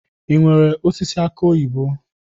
I nwèrè osisi aki oyibo?